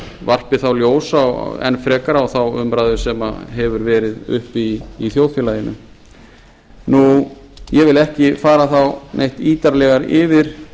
varpi þá ljósi enn frekar á þá umræðu sem hefur verið uppi í þjóðfélaginu ég vil ekki fara neitt ítarlegar yfir